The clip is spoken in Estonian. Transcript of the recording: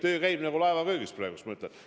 Töö käib nagu laeva köögis praegu, kinnitan ma.